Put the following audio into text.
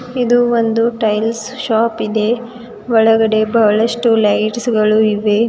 ಇದು ಒಂದು tiles shop ಇದೆ ಒಳಗಡೆ ಬಹಳಷ್ಟು ಲೈಟ್ಸ್ ಗಳು ಇವೆ.